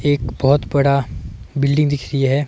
एक बहोत बड़ा बिल्डिंग दिख रही है।